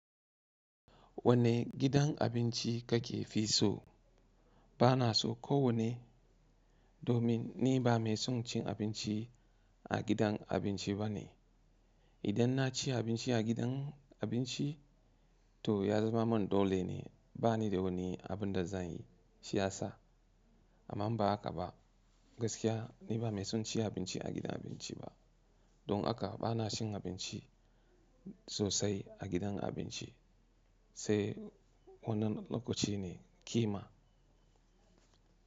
Wanne gidan abinci ka ke fi so? Bana so ko wanne domin ni ba mai son cin abinci, a gidan abinci bane. Idan na ci abinci a gidan abinci to ya zama mun dole ne, bani da wani abin da zan yi shiyasa. Amma ba haka ba gaskiya ni ba mai son ci abinci a gidan abinci ba. Don haka bana cin abinci, sosai a gidan abinci sai wannan lokaci ne ƙima.